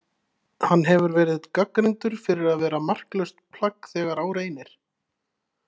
Hann hefur verið gagnrýndur fyrir að vera marklaust plagg þegar á reynir.